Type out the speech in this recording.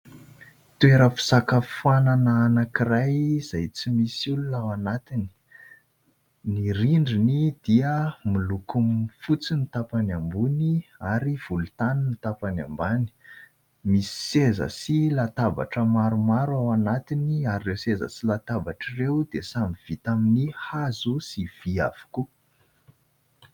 Toeram-pisakafoanana anankiray izay tsy misy olona ao anatiny. Ny rindriny dia miloko fotsy ny tapany ambony ; ary volontany ny tapany ambany. Misy seza sy latabatra maromaro ao anatiny ; ary ireo seza sy latabatra ireo dia samy vita amin'ny hazo sy vy avokoa.